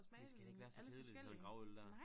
Det skal da ikke være så kedeligt sådan gravøl dér